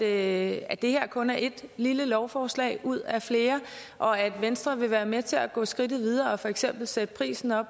at at det her kun er ét lille lovforslag ud af flere og at venstre vil være med til at gå skridtet videre og for eksempel sætte prisen og